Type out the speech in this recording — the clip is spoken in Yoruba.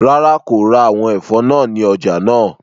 Rara, ko ra awọn ẹfọ naa ni ọja naa